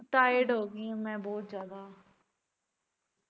tired ਹੋ ਗਈ ਆ ਮੈ ਬਹੁਤ ਜਿਆਦਾ